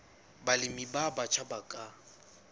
balemi ba batjha ba ka